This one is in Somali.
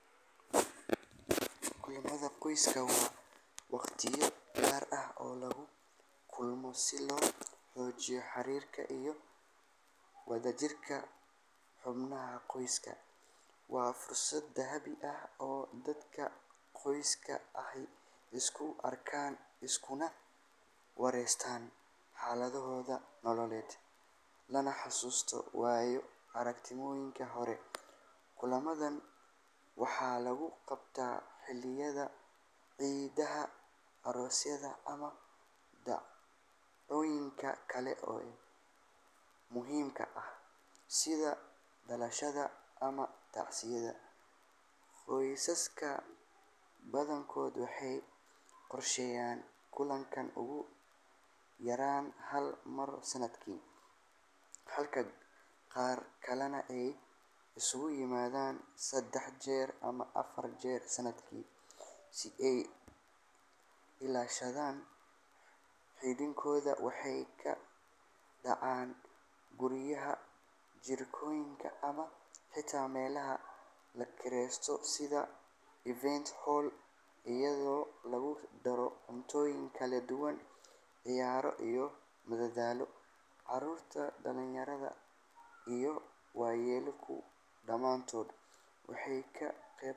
Kulamada qoyska waa waqtiyo gaar ah oo lagu kulmo si loo xoojiyo xiriirka iyo wadajirka xubnaha qoyska. Waa fursad dahabi ah oo dadka qoyska ahi isku arkaan, iskuna waraystaan xaaladahooda nololeed, lana xasuusto waaya aragnimooyinkii hore. Kulamadan waxa lagu qabtaa xilliyada ciidaha, aroosyada, ama dhacdooyinka kale ee muhiimka ah sida dhalashada ama tacsida. Qoysaska badankood waxay qorsheeyaan kulankan ugu yaraan hal mar sanadkii, halka qaar kalena ay isugu yimaadaan saddex jeer ama afar jeer sanadkii si ay u ilaashadaan xidhiidhkooda. Waxay ka dhacaan guryaha, jardiinooyinka ama xitaa meelaha la kireysto sida event hall, iyadoo lagu daro cuntooyin kala duwan, ciyaaro iyo madadaalo. Carruurta, dhalinyarada iyo waayeelku dhammaantood way ka qaybqaataan.